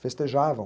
Festejavam.